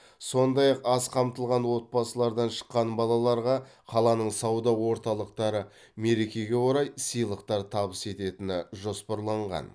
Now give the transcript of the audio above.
сондай ақ аз қамтылған отбасылардан шыққан балаларға қаланың сауда орталықтары мерекеге орай сыйлықтар табыс ететіні жоспарланған